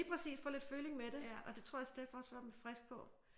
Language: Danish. Lige præcis få lidt føling med det og det tror jeg Steph også er frisk på